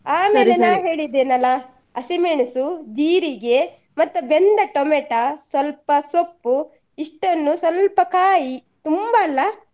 ಹೇಳಿದ್ದೇನೆ ಅಲ್ಲ ಹಸಿಮೆಣಸು, ಜೀರಿಗೆ ಮತ್ತೆ ಬೆಂದ tomato , ಸ್ವಲ್ಪ ಸೊಪ್ಪು ಇಷ್ಟನ್ನು ಸ್ವಲ್ಪ ಕಾಯಿ ತುಂಬ ಕಾಯಿ ಅಲ್ಲ.